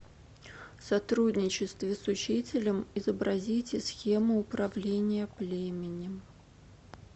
в сотрудничестве с учителем изобразите схему управления племенем